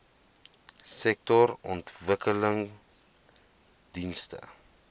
sektorontwikkelingdienste